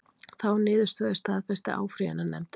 Þá niðurstöðu staðfesti áfrýjunarnefndin